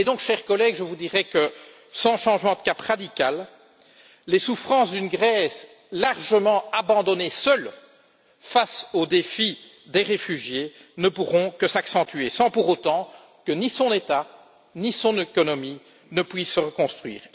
Chers collègues, je vous dirais que, sans un changement de cap radical, les souffrances d'une Grèce largement abandonnée et seule face au défi des réfugiés ne pourront que s'accentuer sans pour autant que l'État ou son économie ne puissent se reconstruire.